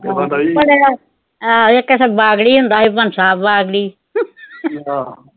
ਇਕ ਇੱਥੇ ਬਾਗੜੀ ਹੁੰਦਾ ਸੀ ਬਾਗੜੀ